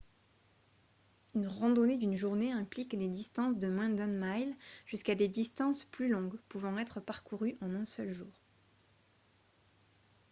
une randonnée d'une journée implique des distances de moins d'un mile jusqu'à des distances plus longues pouvant être parcourues en un seul jour